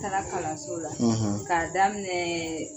Taara kalanso la k'a daminɛɛɛ